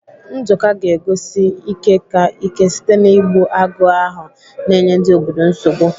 Nduka ga-egosi ike ka ike site na-igbu agụ ahụ na-enye ndị obodo nsogbu.